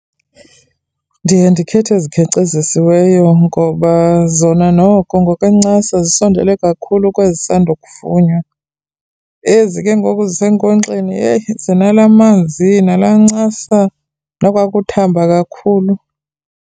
Ndiye ndikhethe ezikhenkcezisiweyo ngoba zona noko ngokwenencasa zisondele kakhulu kwezi zisandokuvunwa. Ezi kengoku zisenkonkxeni yheyi zinalaa manzi, nalaa ncasa nokwakuthamba kakhulu.